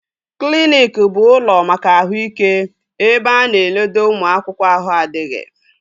Kliniki bụ ụlọ maka ahụ ike ebe a na-enodo ụmụ akwụkwọ ahụ adịghị